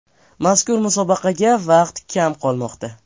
Mazkur musobaqaga vaqt kam qolmoqda.